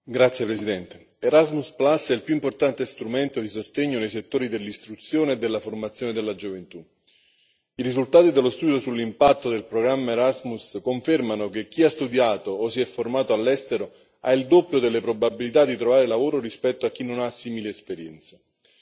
Signor Presidente, onorevoli colleghi, Erasmus è il più importante strumento di sostegno nei settori dell'istruzione e della formazione della gioventù. I risultati dello studio sull'impatto del programma Erasmus confermano che chi ha studiato o si è formato all'estero ha il doppio delle probabilità di trovare lavoro rispetto a chi non ha simili esperienze.